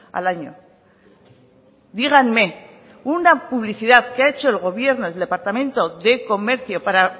al año díganme una publicidad que ha hecho el gobierno el departamento de comercio para